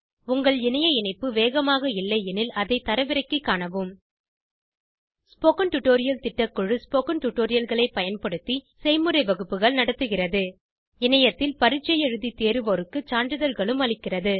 உங்கள் இணைய இணைப்பு வேகமாக இல்லையெனில் அதை தரவிறக்கிக் காணவும் ஸ்போகன் டுடோரியல் திட்டக்குழு ஸ்போகன் டுடோரியல்களைப் பயன்படுத்தி செய்முறை வகுப்புகள் நடத்துகிறது இணையத்தில் பரீட்சை எழுதி தேர்வோருக்கு சான்றிதழ்களும் அளிக்கிறது